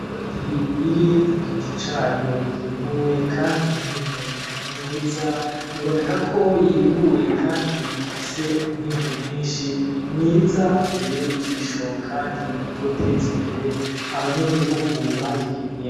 Bati iri ku giti cayo yimbuwe, kandi minimi myiza biboneka ko yimbuwe, kandi ifise umwimbu mwinshi mwiza ubereye ijisho, kandi utoteza imbere abanyagihugu bayirimye.